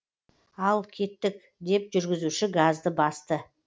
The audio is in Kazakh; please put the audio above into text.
ал кеттік деп жүргізуші газды басты